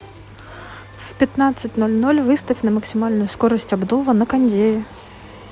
в пятнадцать ноль ноль выставь на максимальную скорость обдува на кондее